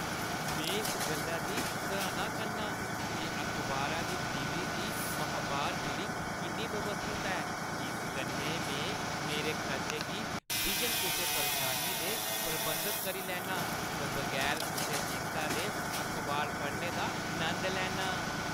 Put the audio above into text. में इस गल्ला दी सराह्‌ना करना आं जे अखबारा दी डलीवरी दी माह्‌बार बिलिंग किन्नी व्यवस्थत ऐ। इस कन्नै में मेरे खर्चें गी बिजन कुसै परेशानी दे प्रबंधत करी लैन्नां ते बगैर कुसै चिंता दे अखबार पढ़ने दा नंद लैन्नां।